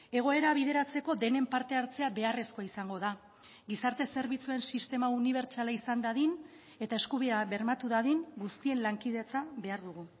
egoera bideratzeko denen parte hartzea beharrezkoa izango da gizarte zerbitzuen sistema unibertsala izan dadin eta eskubidea bermatu dadin guztien lankidetza behar dugu